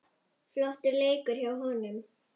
Flottur leikur hjá honum.